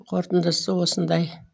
қорытындысы осындай